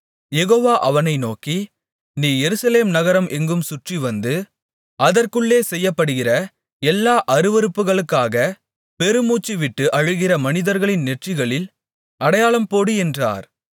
யெகோவா அவனை நோக்கி நீ எருசலேம் நகரம் எங்கும் சுற்றிவந்து அதற்குள்ளே செய்யப்படுகிற எல்லா அருவருப்புகளுக்காக பெருமூச்சுவிட்டு அழுகிற மனிதர்களின் நெற்றிகளில் அடையாளம் போடு என்றார்